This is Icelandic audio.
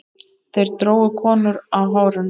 Þeir drógu konur á hárinu.